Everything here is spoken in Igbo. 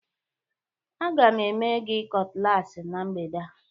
Aga m eme gị cutlass na mgbede a